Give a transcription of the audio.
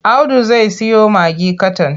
Audu zai siyo magi katan.